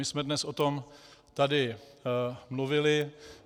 My jsme dnes o tom tady mluvili.